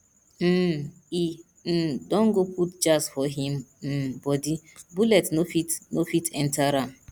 um e um don go put jazz for him um bodi bullet no fit no fit enter am